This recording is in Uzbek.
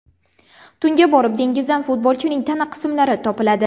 Tunga borib dengizdan futbolchining tana qismlari topiladi.